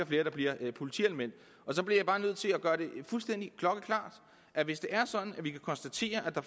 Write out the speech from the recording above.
flere der bliver politianmeldt så bliver jeg bare nødt til at gøre det fuldstændig klokkeklart at hvis det er sådan at vi kan konstatere at der